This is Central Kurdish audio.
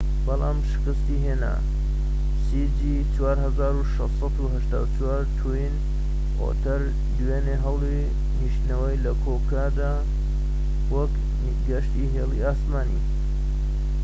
توین ئۆتەر دوێنێ هەوڵی نیشتنەوەی لە کۆکۆدا دا وەک گەشتی هێڵی ئاسمانی cg4684 بەڵام شکستی هێنا